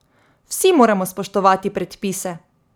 Vsi moramo spoštovati predpise.